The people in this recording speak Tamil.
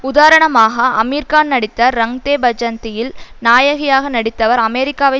உதாரணமாக அமீர்கான் நடித்த ரங்தே பஜந்தியில் நாயகியாக நடித்தவர் அமெரிக்காவை